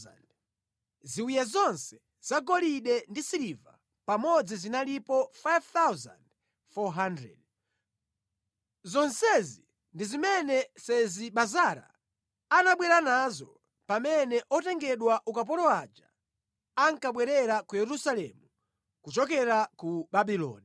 Ziwiya zonse zagolide ndi siliva pamodzi zinalipo 5,400. Zonsezi ndi zimene Sezi-Bazara anabwera nazo pamene otengedwa ukapolo aja ankabwerera ku Yerusalemu kuchokera ku Babuloni.